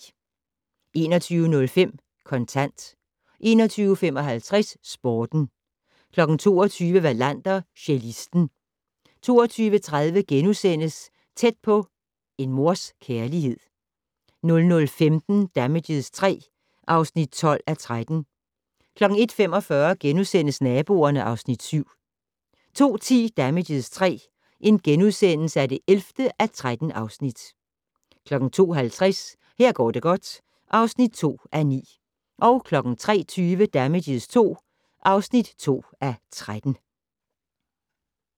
21:05: Kontant 21:55: Sporten 22:00: Wallander: Cellisten 23:30: Tæt på: En mors kærlighed * 00:15: Damages III (12:13) 01:45: Naboerne (Afs. 7)* 02:10: Damages III (11:13)* 02:50: Her går det godt (2:9) 03:20: Damages II (2:13)